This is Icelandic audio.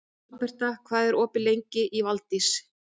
Alberta, hvað er opið lengi í Valdís?